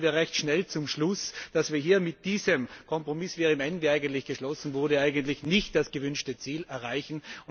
Und so kommen wir recht schnell zum Schluss, dass wir hier mit diesem Kompromiss, wie er im ENVI geschlossen wurde, eigentlich nicht das gewünschte Ziel erreichen.